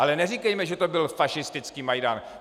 Ale neříkejme, že to byl fašistický Majdan.